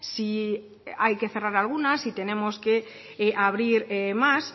si hay que cerrar alguna si tenemos que abrir más